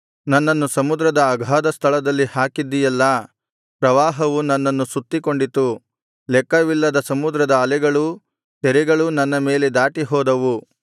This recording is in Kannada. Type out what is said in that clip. ನನ್ನನ್ನು ಸಮುದ್ರದ ಅಗಾಧಸ್ಥಳದಲ್ಲಿ ಹಾಕಿದ್ದೀಯಲ್ಲಾ ಪ್ರವಾಹವು ನನ್ನನ್ನು ಸುತ್ತಿಕೊಂಡಿತು ಲೆಕ್ಕವಿಲ್ಲದ ಸಮುದ್ರದ ಅಲೆಗಳೂ ತೆರೆಗಳೂ ನನ್ನ ಮೇಲೆ ದಾಟಿ ಹೋದವು